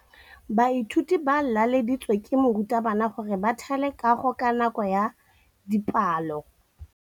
Baithuti ba laeditswe ke morutabana gore ba thale kagô ka nako ya dipalô.